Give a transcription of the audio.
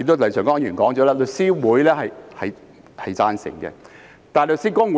廖長江議員也指出，律師會表示贊成，